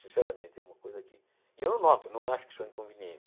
Sinceramente, é uma coisa que e eu não noto, não acho que sou inconveniente.